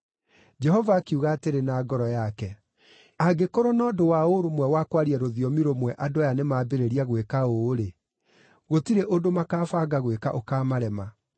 Jehova akiuga atĩrĩ na ngoro yake, “Angĩkorwo na ũndũ wa ũrũmwe wa kwaria rũthiomi rũmwe andũ aya nĩmambĩrĩria gwĩka ũũ-rĩ, gũtirĩ ũndũ makaabanga gwĩka ũkaamarema.